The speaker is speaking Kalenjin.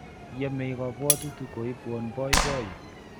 yemei kabwotutik koibwon boiboiyo